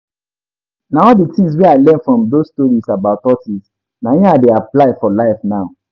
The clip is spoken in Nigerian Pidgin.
Na all the things wey I learn from doz stories about tortoise na im I dey apply for life now